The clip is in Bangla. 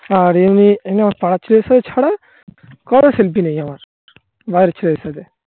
আর এমনি এমনি আমার পাড়ার ছেলের সাথে ছাড়া. কারো selfie নেই আমার. সাথে. বাইরের ছেলের সাথে